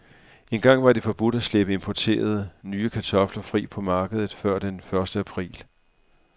Engang var det forbudt at slippe importerede, nye kartofler fri på markedet før den første april.